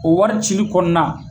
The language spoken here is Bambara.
O wari cili kɔnɔ na